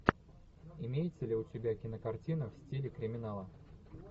имеется ли у тебя кинокартина в стиле криминала